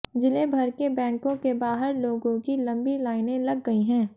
जिले भर के बैंकों के बाहर लोगों की लंबी लाइनें लग गई हैं